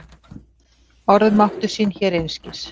Orð máttu sín hér einskis.